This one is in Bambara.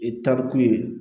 E taarikun ye